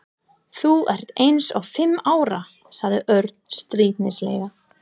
Þú ert eins og fimm ára sagði Örn stríðnislega.